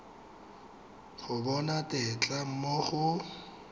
go bona tetla mo go